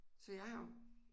Så jeg har